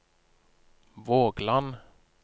Vågland